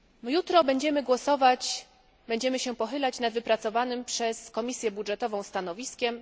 Jutro będziemy głosować, będziemy się pochylać nad wypracowanym przez Komisję Budżetową stanowiskiem.